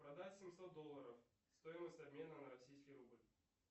продать семьсот долларов стоимость обмена на российский рубль